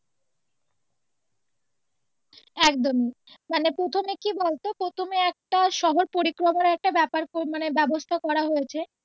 একদম মানে প্রথমে কি বলতো প্রথমে একটা শহর পরিক্রমার একটা ব্যাপার মানে একটা ব্যবস্থা করা হয়েছে।